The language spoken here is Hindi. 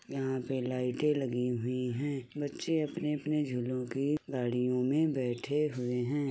यहां पे लाइटे लगी हुई हैं। बच्चे अपने-अपने झूलों की गाड़ियों में बैठे हुए हैं।